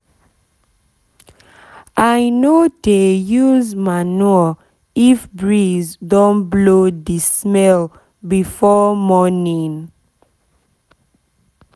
i no dey use manure if breeze don blow the smell before morning